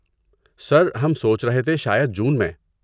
سر، ہم سوچ رہے تھے شاید جون میں؟